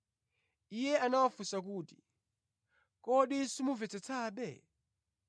Iye anawafunsa kuti, “Kodi simumvetsetsabe?”